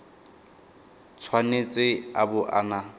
tshwanetse a bo a na